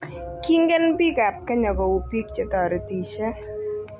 Kingen biik ab kenya kou biik che toretishe.